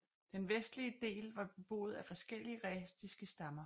Den vestlige del var beboet af forskellige rætiske stammer